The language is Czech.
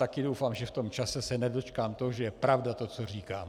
Také doufám, že v tom čase se nedočkám toho, že je pravda to, co říkám.